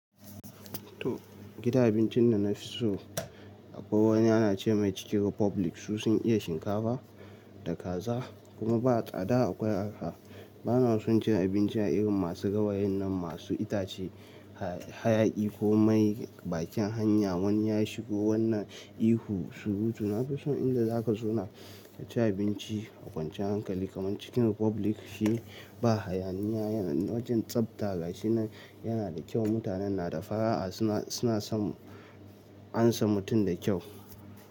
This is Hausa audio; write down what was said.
To, gidan abincin da na fi so akwai wani ana ce mai cikin Republic. Su sun iya shinkafa, da kaza, kuma ba tsada akwai a ka. Ba na son cin abinci a irin masu gawayin nan masu itace, hayaƴi ko mai bakin hanya. Wani ya shigo wannan ihu surutu. Na fi so inda za ka zauna ka ci abinci a kwanciyar hankali, kamar cikin Republic. Shi ba hayaniya yana wajen tsafta ga shi na yana da kyau. Mutanen na da fara'a suna, suna son ansa mutum da kyau.